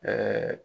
Ɛɛ